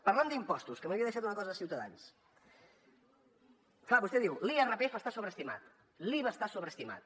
parlant d’impostos que m’havia deixat una cosa de ciutadans clar vostè diu l’irpf està sobreestimat l’iva està sobreestimat